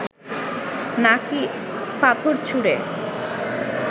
নাকি পাথর ছুঁড়ে